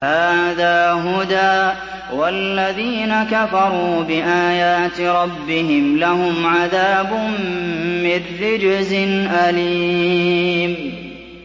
هَٰذَا هُدًى ۖ وَالَّذِينَ كَفَرُوا بِآيَاتِ رَبِّهِمْ لَهُمْ عَذَابٌ مِّن رِّجْزٍ أَلِيمٌ